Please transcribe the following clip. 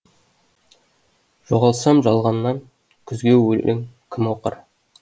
жоғалсам жалғаннан күзге өлең кім оқыр